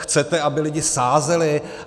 Chcete, aby lidi sázeli?